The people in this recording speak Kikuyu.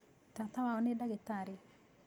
Tata wao nĩ ndagĩtarĩ.